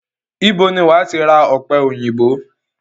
Ibo ni wàá ti ra ọ̀pẹ òyìnbó?